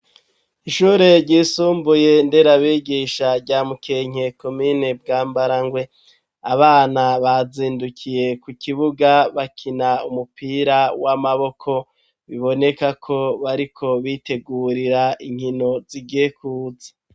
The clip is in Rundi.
Ishure ryisumbuye ndera bigisha rya mukenke komine Bwambarangwe abana bazindukiye ku kibuga bakina umupira w'amaboko bibonekako bariko bitegurira inkino zigiye kuza